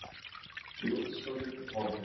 Blóðslóðin er horfin.